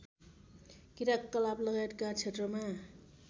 क्रियाकलापलगायतका क्षेत्रमा